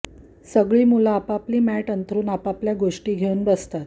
सगळी मुलं आपापली मॅट अंथरुन आपापल्या गोष्टी घेऊन बसतात उदा